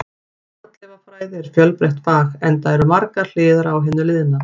Fornleifafræði er fjölbreytt fag, enda eru margar hliðar á hinu liðna.